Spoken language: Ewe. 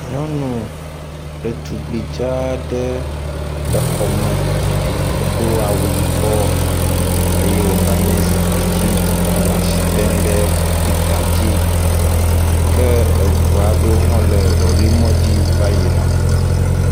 Nyɔnu ɖetugbui dza aɖe le xɔme, edo awu yibɔ eye wònɔ anyi ɖe zikpui dzi hele asi tem ɖe kɔmpita dzi ke eŋu aɖewo hã le lɔ̃rɛ̃ mɔdzi va yina.